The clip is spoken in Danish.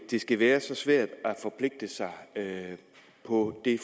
det skal være så svært at forpligte sig på det